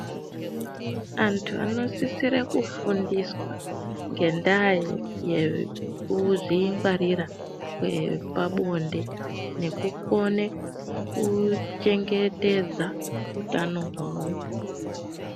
Antu anosisire kufundiswa ngendaa yekuzvingwarira kwepabonde nekukone kuchengetedza utano hwavo.